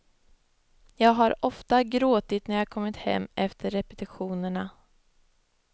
Jag har ofta gråtit när jag kommit hem efter repetitionerna.